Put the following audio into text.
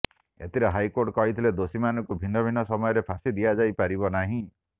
ଏଥିରେ ହାଇକୋର୍ଟ କହିଥିଲେ ଦୋଷୀମାନଙ୍କୁ ଭିନ୍ନ ଭିନ୍ନ ସମୟରେ ଫାଶୀ ଦିଆଯାଇ ପାରିବ ନାହିଁ